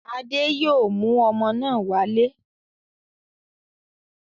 Adé yóò mú ọmọ náà wálé.